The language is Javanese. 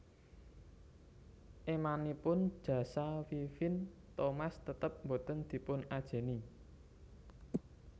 Émanipun jasa Vivien Thomas tetep boten dipun ajèni